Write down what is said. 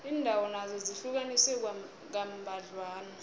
iindawo nazo zihlukaniswe kambadlwana